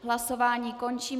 Hlasování končím.